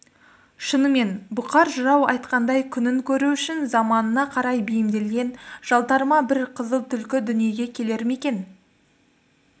шыныменен бұқар жырау айтқандай күнін көру үшін заманына қарай бейімделген жалтарма бір қызыл түлкі дүниеге келер ме екен